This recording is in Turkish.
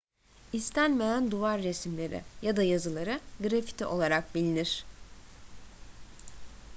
i̇stenmeyen duvar resimleri ya da yazıları graffiti olarak bilinir